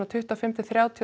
tuttugu og fimm til þrjátíu